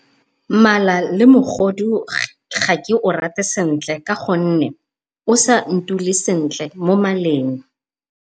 Malalemogodu ga ke o rate sentle ka gonne o sa ntule sentle mo maleng.